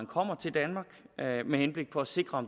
kommer til danmark med henblik på at sikre at